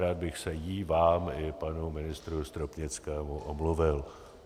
Rád bych se jí, vám i panu ministrovi Stropnickému omluvil.